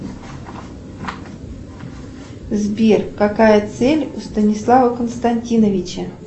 сбер какая цель у станислава константиновича